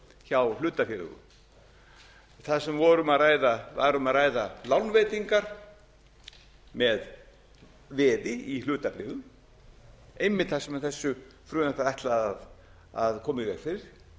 hjá hlutafélögum þar sem var um að ræða lánveitingar með veði í hlutabréfin einmitt þar sem þessu frumvarpi er ætlað að koma í veg fyrir